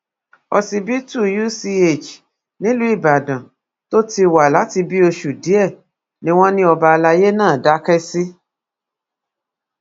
ọsibítù uch nílùú ìbàdàn tó ti wà láti bíi oṣù díẹ̀ ni wọ́n ní ọba alayé náà dákẹ́ sí